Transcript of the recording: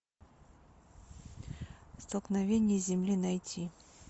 столкновение земли найти